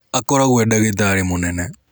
Akoragũo e dagĩtari mũnene.